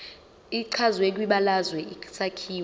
echazwe kwibalazwe isakhiwo